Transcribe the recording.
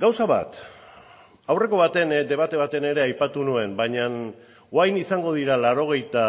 gauza bat aurreko baten debate baten ere aipatu nuen baina orain izango dira laurogeita